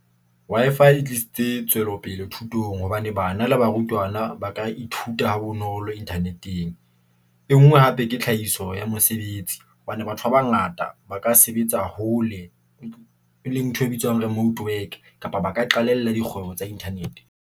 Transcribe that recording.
Wi-Fi e tlisitse tswelopele thutong hobane bana le barutwana ba ka ithuta ha bonolo internet-eng. E nngwe hape ke tlhahiso ya mosebetsi hobane batho ba bangata ba ka sebetsa hole, e leng ntho e bitswang remote work kapa ba ka qalella dikgwebo tsa internet-eng.